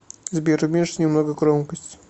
сбер уменьши немного громкость